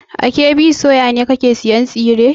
A KB soya ne kake sayan tsire?